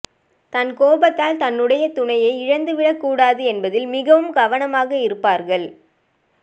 தன் கோபத்தால் தன்னுடைய துணையை இழந்துவிடக்கூடாது என்பதில் மிகவும் கவனமாக இருப்பார்கள்